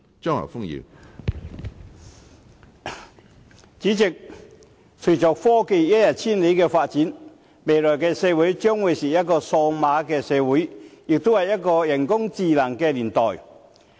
主席，隨着科技發展一日千里，未來的社會將會是一個數碼社會，也會是一個人工智能的年代。